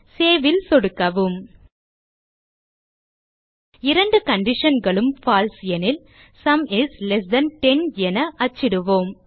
save ல் சொடுக்கவும் இரண்டு conditionகளும் பால்சே எனில் சும் இஸ் லெஸ் தன் 10 என அச்சிடுவோம்